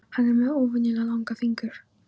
Hann er með óvenjulega langa fingur.